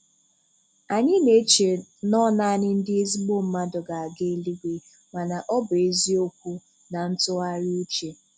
Anyị na-eche nọ naanị ndị ezigbo mmadụ ga-aga Eluigwe, mana ọ bụ eziokwu na ntụgharị uche.